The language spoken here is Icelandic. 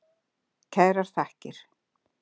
Kærar þakkir.